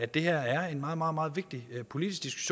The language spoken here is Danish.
det her er en meget meget meget vigtig politisk